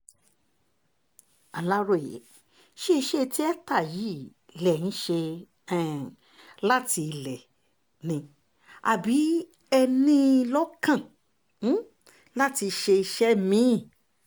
aláròye ṣe iṣẹ́ tíáta yìí lẹ̀ ń ṣe um láti ilé ni àbí ẹ ní in lọ́kàn um láti ṣiṣẹ́ mí-ín